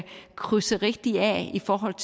krydse rigtigt af i forhold